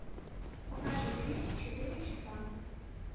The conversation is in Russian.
покажи фильм четыре часа